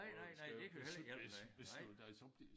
På skal beslutte beslutte dig så bliver